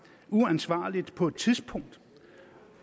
uansvarligt på et tidspunkt